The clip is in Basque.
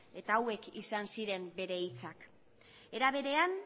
eta hauek izan ziren bere hitzak era berean